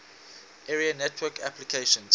area network applications